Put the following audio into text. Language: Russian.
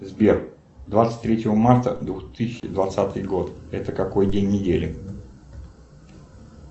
сбер двадцать третьего марта двух тысячи двадцатый год это какой день недели